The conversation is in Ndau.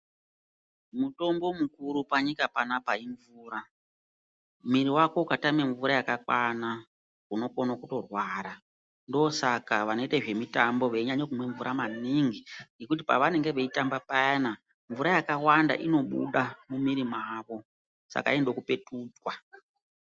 Mutombo mukuru panyika panapa imvura mwiri wako ukatame mvura yakakwana unokona kurwara ndosaka vanoita zvemutambo veimwa mvura maningi ngekuti pavanenge veitamba payana mvura yakawanda inobuda mumwiri mwavo saka inoda kupetudzwa.